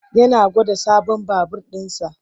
Yana gwada sabon babur ɗinsa.